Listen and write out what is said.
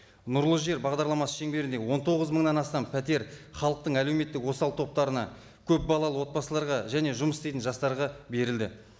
нұрлы жер бағдарламасы шеңберінде он тоғыз мыңнан астам пәтер халықтың әлеуметтік осал топтарына көпбалалы отбасыларға және жұмыс істейтін жастарға берілді